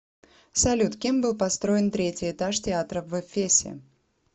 салют кем был построен третий этаж театра в эфесе